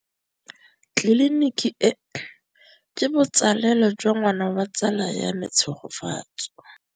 Tleliniki e, ke botsalêlô jwa ngwana wa tsala ya me Tshegofatso.